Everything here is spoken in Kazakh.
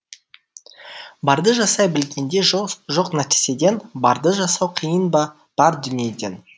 барды жасай білгенде жоқ нәрседен барды жасау қиын ба бар дүниеден